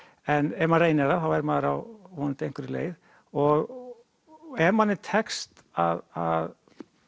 ef maður reynir það þá er maður á vonandi einhverri leið og ef manni tekst að